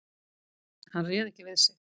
Hann réð ekki við sig.